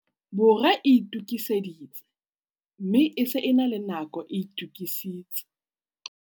Borwa e itokiseditse, mme e se e le nako e itokisitse.